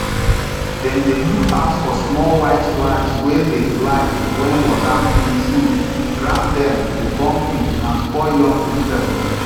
dem dey look out for small white flies wey dey fly when water um full grounddem dey born quick and spoil young vegetables